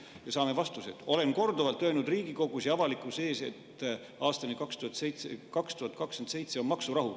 Me saime vastuse: "Olen korduvalt öelnud Riigikogus ja avalikkuse ees, et aastani 2027 on maksurahu.